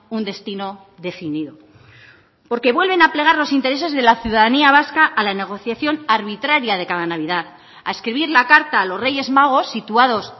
un destino definido porque vuelven a plegar los intereses de la ciudadanía vasca a la negociación arbitraria de cada navidad a escribir la carta a los reyes magos situados